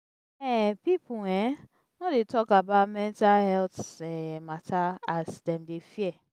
um pipu um no dey tok about their mental healt um mata as dem dey fear.